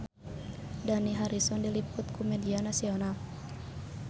Dani Harrison diliput ku media nasional